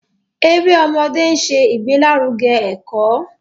Èrè ọmọdé nṣẹ igbelaruge eko.